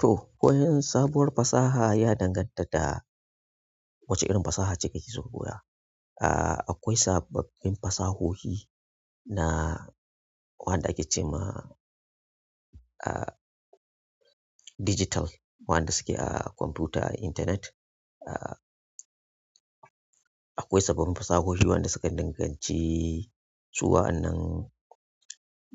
To koyon sabuwar fasaha ya danganta da wace irin fasaha ce kake so koya. Ah akwai sababbin fasahohi na waɗanda ake ce ma ah digital, waɗanda suke a kwamfuta, a intanet. Ah akwai sabbin fasahohi waɗanda sukan danganci su waɗannan